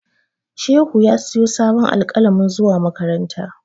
Shehu ya siyo sabon alƙalami zuwa makaranta.